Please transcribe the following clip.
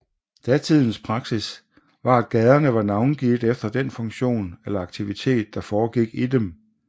Datidens praksis var at gaderne var navngivet efter den funktion eller aktivitet der foregik i dem